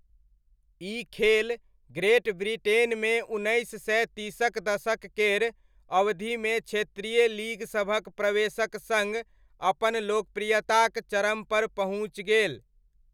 ई खेल ग्रेट ब्रिटेनमे उन्नैस सय तीसक दशक केर अवधिमे क्षेत्रीय लीग सभक प्रवेशक सङ्ग अपन लोकप्रियताक चरमपर पहुँचि गेल।